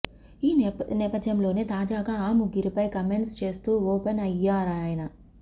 ఈ నేపథ్యంలోనే తాజాగా ఆ ముగ్గురిపై కామెంట్స్ చేస్తూ ఓపెన్ అయ్యారాయన